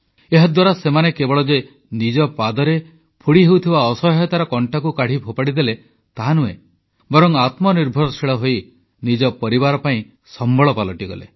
ଏହାଦ୍ୱାରା ସେମାନେ କେବଳ ଯେ ନିଜ ପାଦରେ ଫୋଡ଼ି ହେଉଥିବା ଅସହାୟତାର କଂଟାକୁ କାଢ଼ି ଫୋପାଡ଼ି ଦେଲେ ତାହାନୁହେଁ ବରଂ ଆତ୍ମନିର୍ଭରଶୀଳ ହୋଇ ନିଜ ପରିବାର ପାଇଁ ସମ୍ବଳ ପାଲଟିଗଲେ